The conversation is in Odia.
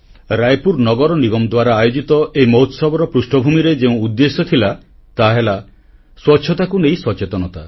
ରାୟପୁର ନଗର ନିଗମ ଦ୍ୱାରା ଆୟୋଜିତ ଏହି ମହୋତ୍ସବର ପୃଷ୍ଠଭୂମିରେ ଯେଉଁ ଉଦ୍ଦେଶ୍ୟ ଥିଲା ତାହାହେଲା ସ୍ୱଚ୍ଛତାକୁ ନେଇ ସଚେତନତା